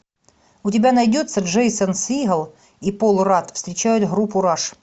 у тебя найдется джейсон сигел и пол радд встречают группу раш